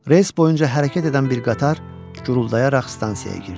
Relis boyunca hərəkət edən bir qatar guruldayaraq stansiyaya girdi.